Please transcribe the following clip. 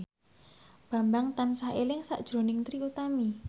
Bambang tansah eling sakjroning Trie Utami